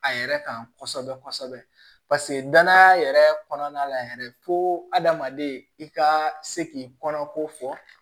A yɛrɛ kan kosɛbɛ kosɛbɛ paseke danaya yɛrɛ kɔnɔna la yɛrɛ fo adamaden i ka se k'i kɔnɔko fɔ